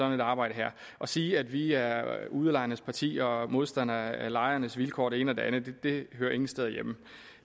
et arbejde her at sige at vi er udlejernes parti og modstandere af lejernes vilkår og det ene og det andet hører ingen steder hjemme